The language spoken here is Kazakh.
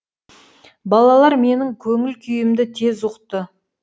балалар менің көңіл күйімді тез ұқты